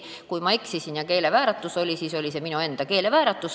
Kui ma eksisin, siis oli see minu enda keelevääratus.